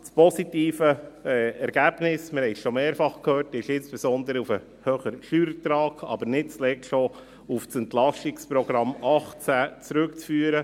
Das positive Ergebnis – wir haben es schon mehrfach gehört – ist insbesondere auf den höheren Steuerertrag, aber nicht zuletzt auch auf das EP 2018 zurückzuführen.